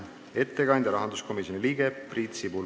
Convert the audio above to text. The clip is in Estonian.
Ettekandja on rahanduskomisjoni liige Priit Sibul.